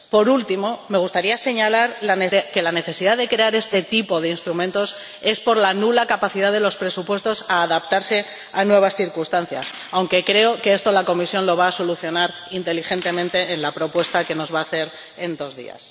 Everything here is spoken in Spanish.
Por último, me gustaría señalar que la necesidad de crear este tipo de instrumentos es por la nula capacidad de los presupuestos a adaptarse a nuevas circunstancias, aunque creo que esto la Comisión lo va a solucionar inteligentemente en la propuesta que nos va a hacer en dos días.